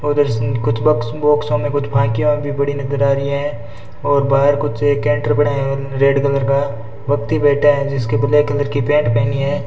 और उधर से कुछ बक्स बोक्सो में फाँकियाँ भी पड़ी नजर आ रही हैं और बाहर कुछ कैंटर पड़े हैं रेड कलर का व्यक्ति बैठे हैं जिसके ब्लैक कलर की बैट पहनी है।